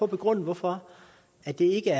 begrunde hvorfor det ikke